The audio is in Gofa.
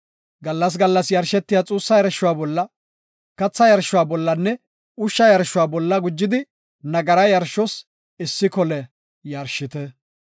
Gallas gallas yarshetiya xuussa yarshuwa bolla, katha yarshuwa bollanne ushsha yarshuwa bolla gujidi nagara yarshos issi kole yarshite.